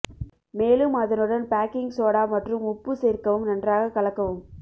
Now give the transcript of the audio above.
மேலும் அதனுடன் baking soda மற்றும் உப்பு சேர்க்கவும் நன்றாக கலக்கவும்